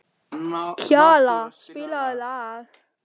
Kjalar, spilaðu lag.